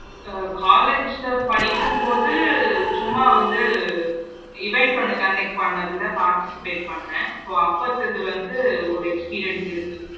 So college படிக்கும் போது சும்மா வந்து event ஒன்னு conduct பண்ணதுல participate பன்னினேன் so அப்பத்தது வந்து ஒரு experience இருக்கு